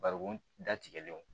Barikon datigɛlenw